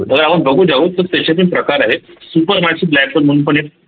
त्याच्यातही प्रकार आहे supremacyblackhole म्हणून पण एक